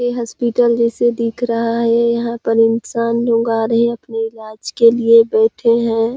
ये हॉस्पिटल जैसे दिख रहा है यहाँ पर इंसान लोग आ रहै हैं अपने इलाज के लिए बैठे हैं।